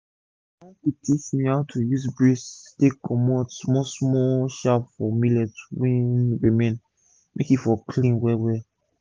na my uncle teach me how to use breeze take comot comot small small chaff for millet wey remain make e for clean well well